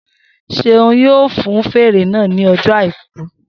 Seun yóò fun fèrè náà ní ọjọ́ àìkú